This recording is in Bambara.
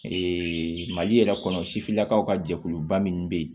mali yɛrɛ kɔnɔ sifinnakaw ka jɛkuluba min bɛ yen